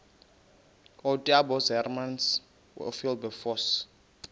ootaaibos hermanus oowilberforce